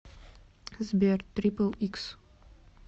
сбер трипл икс